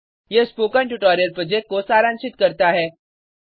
यह spoken tutorial project को सारांशित करता है